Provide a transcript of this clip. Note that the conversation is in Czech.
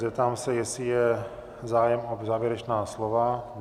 Zeptám se, jestli je zájem o závěrečná slova?